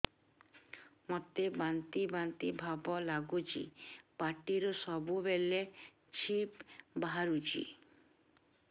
ମୋତେ ବାନ୍ତି ବାନ୍ତି ଭାବ ଲାଗୁଚି ପାଟିରୁ ସବୁ ବେଳେ ଛିପ ବାହାରୁଛି